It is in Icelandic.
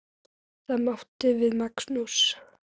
Það átti við Magnús.